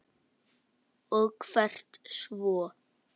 Og hvert svo?